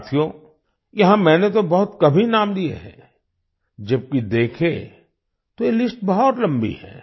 साथियो यहाँ मैंने तो बहुत कम ही नाम लिए हैं जबकि देखें तो यह लिस्ट बहुत लंबी है